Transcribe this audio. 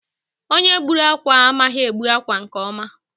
Onye gbùrù ákwà a, amaghị egbu akwa nke ọma.